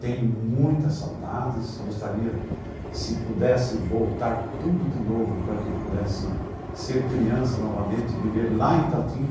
Tenho muitas saudades, gostaria, se pudesse voltar tudo de novo, para que eu pudesse ser criança novamente e viver lá em Itatinga,